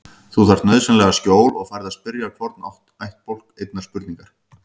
Þú þarft nauðsynlega skjól og færð að spyrja hvorn ættbálk einnar spurningar.